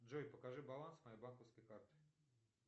джой покажи баланс моей банковской карты